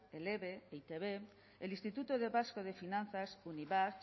el eve e i te be el instituto vasco de finanzas unibasq